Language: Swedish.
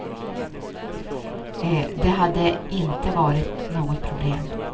Det hade inte varit något problem.